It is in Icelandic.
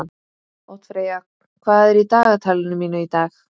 Oddfreyja, hvað er í dagatalinu mínu í dag?